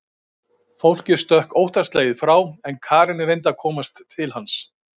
Fólkið stökk óttaslegið frá en Karen reyndi að komast til hans.